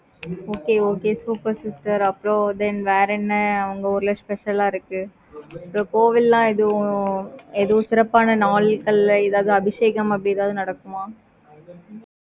okay okay super sister அப்புறம், then வேற என்ன, உங்க ஊர்ல, special ஆ இருக்கு? கோவில்லாம் எதுவும், எதுவும் சிறப்பான நாள்கள்ல, ஏதாவது அபிஷேகம், அப்படி ஏதாவது நடக்குமா